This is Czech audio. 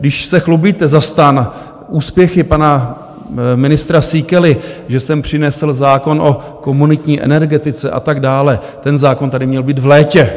Když se chlubíte za STAN úspěchy pana ministra Síkely, že sem přinesl zákon o komunitní energetice a tak dále - ten zákon tady měl být v létě.